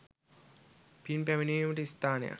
පින් පැමිණවීමට ස්ථානයක්